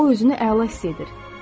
O özünü əla hiss edir.